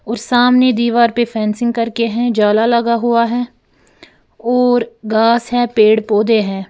और सामने दीवार पे फेंसिंग करके है जाला लगा हुआ है और घास है पेड़ पौधे है।